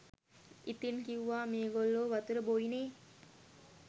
ඉතින් කිව්වා මේගොල්ලෝ වතුර බොයිනේ